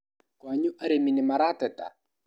Kwanyu arĩmi nĩmarateta ?